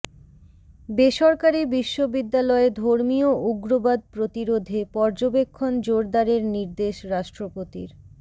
বেসরকারি বিশ্ববিদ্যালয়ে ধর্মীয় উগ্রবাদ প্রতিরোধে পর্যবেক্ষণ জোরদারের নির্দেশ রাষ্ট্রপতির